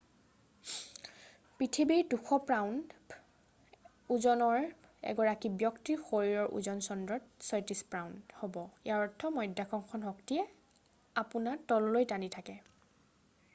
পৃথিৱীত ২০০পাউণ্ড ৯০ কিগ্ৰা ওজনৰ এগৰাকী ব্যক্তিৰ শৰীৰৰ ওজন চন্দ্ৰত ৩৬ পাউণ্ড ১৬ কিগ্ৰা হ'ব। ইয়াৰ অৰ্থ হৈছে মধ্যাকৰ্ষণ শক্তিয়ে আপোনাত তললৈ টানি থাকে।